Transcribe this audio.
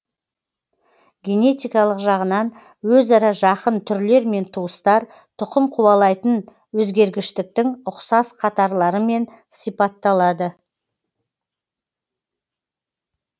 генетикалық жағынан өзара жақын түрлер мен туыстар тұқым қуалайтын өзгергіштіктің ұқсас қатарларымен сипатталады